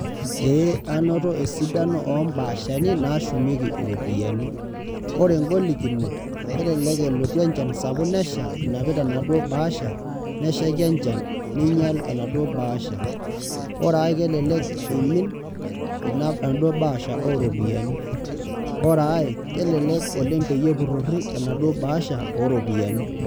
Ee anoto esidano ombaashani nashumieki iropiyiani. Ore golikinot, kelelek elotu enchan sapuk nesha inapita enaduo bahasha, neshaiki enchan neinyal enaduo bahasha. Ore ai kelelek eimin enaduo bahasha oropiyiani. Ore ai, kelelek oleng peyie epurrorri enaduo bahasha oropiyiani.